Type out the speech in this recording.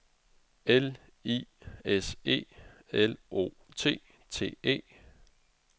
L I S E L O T T E